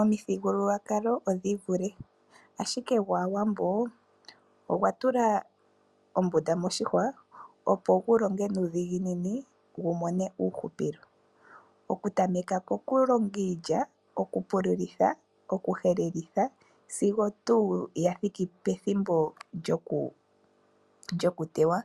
Omithigululwakalo odhii vule, ashike gwaawambo ogwa tula ombunda moshihwa opo gu longe nuu dhiginini wu mone uuhupilo. Okutameka ko ku longa iilya, kokupululitha, okuhelelitha sigo tuu ya thiki pethimbo lyo ku yi teya.